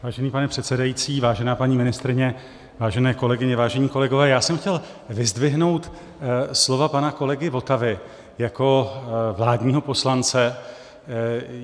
Vážený pane předsedající, vážená paní ministryně, vážené kolegyně, vážení kolegové, já jsem chtěl vyzdvihnout slova pana kolegy Votavy jako vládního poslance.